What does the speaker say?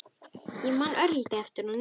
Ég man örlítið eftir honum.